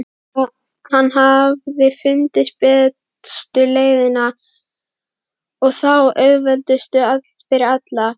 Hann hafði fundið bestu leiðina og þá auðveldustu fyrir alla.